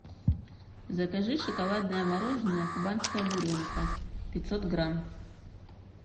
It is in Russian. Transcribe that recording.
закажи шоколадное мороженое кубанская буренка пятьсот грамм